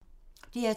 DR2